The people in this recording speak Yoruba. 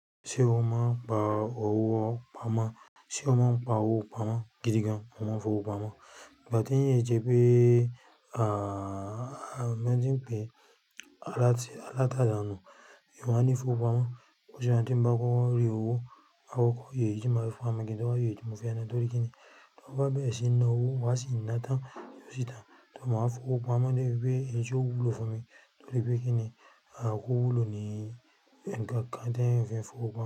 Ṣé o máa ń pa owó pamọ́? Sé o máa ń pa owó pamọ́ gidi gan-an, mo máa n fowó pamọ́. Ìgbà tí eeyan i sẹ pé, à, mo tí ń pe aláti, aláta dànù, èeyan o wá ní fowó pamọ́. Ó jẹ́ kí bá kọ́kọ́ rí owó, má kọ́kọ́ yè èyí tí maa fi pamo, kí n tó wá yo èyí tí mo fẹ́ ná. Torí kí ni? Mo bá bẹ̀rẹ̀ sí ní ná owó, má sì ná tán, yóò sì tán. Torí mo máa fowó pamọ́ nítorí pé èyí tí ó wúlò fún mi, torí pé kí ni, à, owó wúlò ní ẹ̀ẹ̀kan, káǹ téyan fi n fowó pamọ́